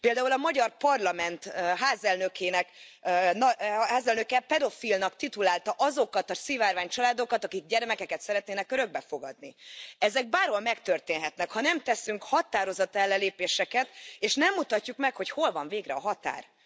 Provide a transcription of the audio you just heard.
Például a Magyar Parlament házelnöke pedofilnak titulálta azokat a szivárvány családokat, akik gyermekeket szeretnének örökbe fogadni. Ezek bárhol megtörténhetnek, ha nem teszünk határozott ellenlépéseket, és nem mutatjuk meg, hogy hol van végre a határ.